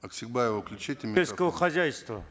оксекбаеву включите сельского хозяйства